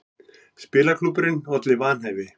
Spilaklúbburinn olli vanhæfi